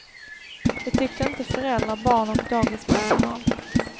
Det tyckte inte föräldrar, barn och dagispersonal.